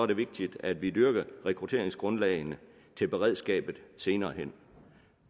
det vigtigt at vi dyrker rekrutteringsgrundlagene til beredskabet senere hen